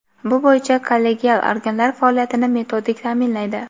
bu bo‘yicha kollegial organlar faoliyatini metodik taʼminlaydi.